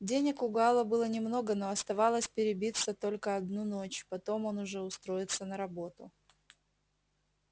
денег у гаала было немного но оставалось перебиться только одну ночь потом он уже устроится на работу